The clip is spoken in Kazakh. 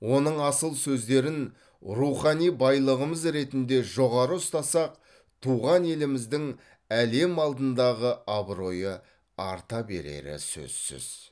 оның асыл сөздерін рухани байлығымыз ретінде жоғары ұстасақ туған еліміздің әлем алдындағы абыройы арта берері сөзсіз